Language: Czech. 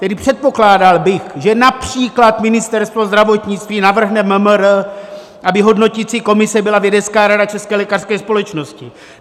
Tedy předpokládal bych, že například Ministerstvo zdravotnictví navrhne MMR, aby hodnotící komise byla vědecká rada České lékařské společnosti.